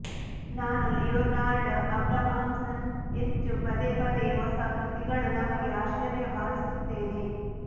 ನಾನು Leonard Abrahamson ಹೆಚ್ಚು ಪದೇ ಪದೇ ಹೊಸ ಕೃತಿಗಳು ನಮಗೆ ಆಶ್ಚರ್ಯ ಭಾವಿಸುತ್ತೇನೆ